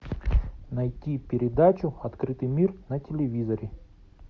найти передачу открытый мир на телевизоре